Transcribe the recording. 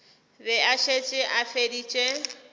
be a šetše a feditše